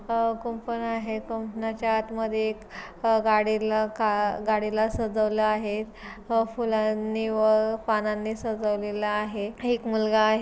अह कुंपण आहे कुंपणाच्या आत मधे एक गाडी ल का गाडीला सजवलं आहे अ फुलांनी व पानांनी सजवलेल आहे. एक मुलगा आहे.